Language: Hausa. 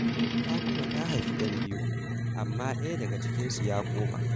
Fatima ta haifi 'yan biyu, amma ɗaya daga cikinsu ya koma.